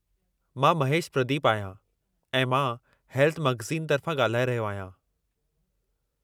मां महेशु प्रदीपु आहियां ऐं मां हेल्थ मख़ज़ीन तर्फ़ां ॻाल्हाए रहियो आहियां।